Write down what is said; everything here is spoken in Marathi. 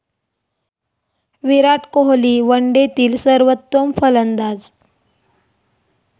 विराट कोहली वनडेतील सर्वोत्तम फलंदाज